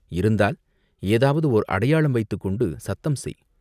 இருந்தால், ஏதாவது ஓர் அடையாளம் வைத்துக் கொண்டு சத்தம் செய்!